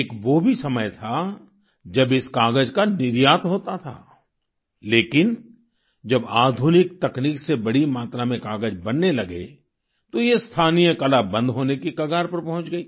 एक वो भी समय था जब इस कागज का निर्यात होता था लेकिन जब आधुनिक तकनीक से बड़ी मात्रा में कागज बनने लगे तो ये स्थानीय कला बंद होने की कगार पर पहुँच गई